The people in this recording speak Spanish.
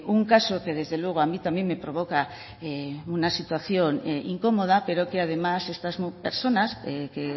un caso que desde luego a mí también me provoca una situación incómoda pero que además estas personas que